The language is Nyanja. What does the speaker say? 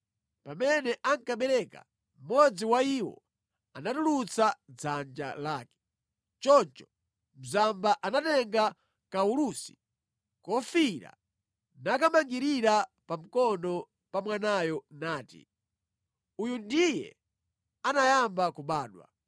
Pamene ankabereka, mmodzi wa iwo anatulutsa dzanja lake. Choncho mzamba anatenga kawulusi kofiira nakamangirira pa mkono pa mwanayo nati, “Uyu ndiye anayamba kubadwa.”